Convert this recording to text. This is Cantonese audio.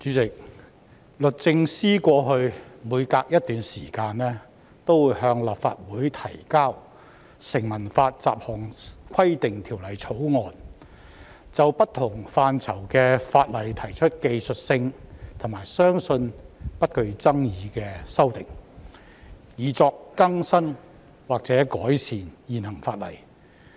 主席，律政司過去每隔一段時間便會向立法會提交《成文法條例草案》，就不同範疇的法例提出屬於技術性和相信不具爭議性的修訂，以更新或改善現行法例。